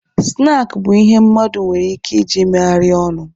Snaakị bụ ihe mmadụ nwere ike iji megharịa ọnụ.